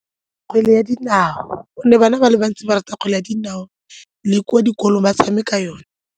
Kgwele ya dinao gonne bana ba le bantsi ba rata kgwele ya dinao le kwa dikolong ba tshameka yona.